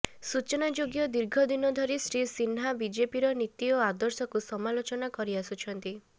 ସୂଚନାଯୋଗ୍ୟ ଦୀର୍ଘ ଦିନ ଧରି ଶ୍ରୀ ସିହ୍ନା ବିଜେପିର ନୀତି ଓ ଆଦର୍ଶକୁ ସମାଲୋଚନା କରି ଆସୁଛନ୍ତି